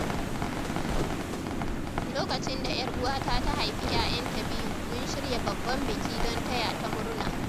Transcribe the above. Lokacin da ‘yar uwata ta haifi ‘ya’yanta biyu, mun shirya babban biki don taya ta murna.